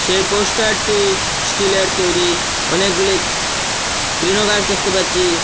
এ পোস্টারটি স্টিলের তৈরি অনেকগুলি তৃণগাছ দেখতে পাচ্ছি।